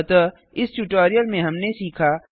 अतः इस ट्यूटोरियल में हमने सीखा